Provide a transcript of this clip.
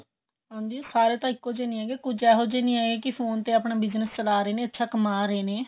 ਹਾਂਜੀ ਸਾਰੇ ਤਾਂ ਇੱਕੋ ਜਿਹੇ ਨਹੀਂ ਹੈਗੇ ਕੁੱਛ ਏਹੋ ਜ਼ੇ ਵੀ ਹੈਗੇ ਫੋਨ ਤੇ ਆਪਣਾ bigness ਚਲਾ ਰਹੇ ਨੇ ਅੱਛਾ ਕੰਮਾਹ ਰਹੇ ਨੇ